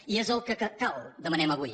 i és el que cal demanem avui